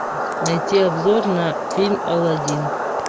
найти обзор на фильм алладин